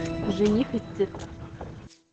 жених из цирка